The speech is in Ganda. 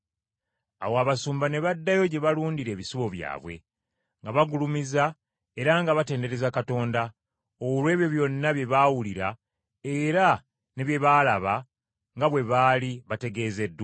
Awo abasumba ne baddayo gye balundira ebisibo byabwe, nga bagulumiza era nga batendereza Katonda, olw’ebyo byonna bye baawulira era ne bye baalaba nga bwe baali bategeezeddwa.